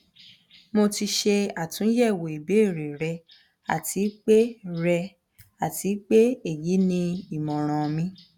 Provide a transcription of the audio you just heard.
mo ti ṣe àtúnyẹ̀wò ìbéèrè rẹ àti pé rẹ àti pé èyí ni ìmọ̀ràn mi